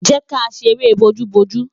jẹ ká ṣeré bo oju bo oju